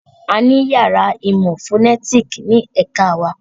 A ní yàrá ìmọ̀ fònétìkì ní ẹ̀ka wa